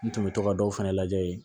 N tun bɛ to ka dɔw fɛnɛ lajɛ